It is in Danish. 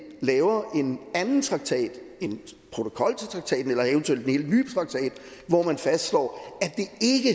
laver en anden traktat en protokol til traktaten eller eventuelt en helt ny traktat hvor man fastslår